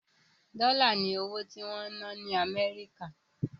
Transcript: Dọ́là ni owó tí wọ́n ń ná ní Amẹ́ríkà.